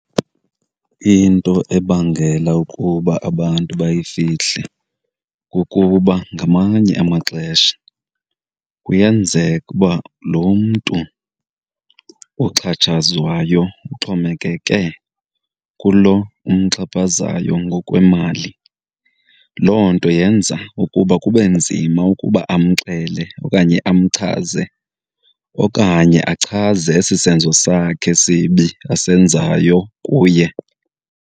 Into ebangela ukuba abantu bayifihle kukuba ngamanye amaxesha kuyenzeka uba lo mntu oxhatshazwayo uxhomekeke kulo umxhaphazayo ngokwemali. Loo nto yenza ukuba kube nzima ukuba amxele okanye amchaze okanye achaze esi senzo sakhe sibi asenzayo kuye.